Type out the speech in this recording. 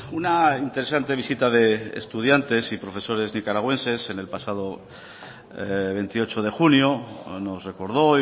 una interesante visita de estudiantes y profesores nicaragüenses en el pasado veintiocho de junio nos recordó